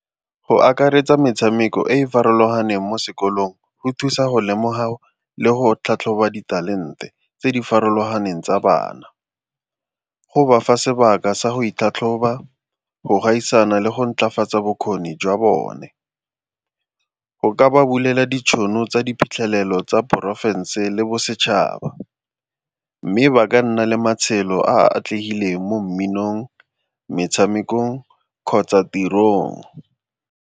Go akaretsa metshameko e e farologaneng mo sekolong go thusa go lemoga le go tlhatlhoba ditalente tse di farologaneng tsa bana. Go bafa sebaka sa go itlhatlhoba, go gaisana le go maatlafatsa bokgoni jwa bone. Go ka ba bulela ditšhono tsa diphitlhelelo tsa porofense le bosetšhaba, mme ba ka nna le matshelo a a atlegile mo mminong, metshamekong kgotsa tirong.